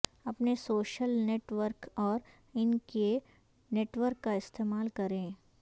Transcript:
اپنے social network اور ان کے نیٹ ورک کا استعمال کریں